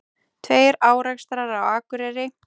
Tveir árekstrar á Akureyri